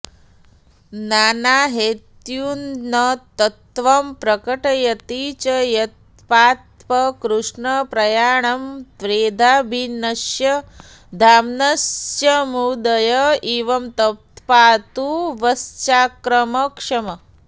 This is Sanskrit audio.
नानाहेत्युन्नतत्त्वं प्रकटयति च यत्प्राप्तकृष्णप्रयाणं त्रेधा भिन्नस्य धाम्नस्समुदय इव तत्पातु वश्चाक्रमक्षम्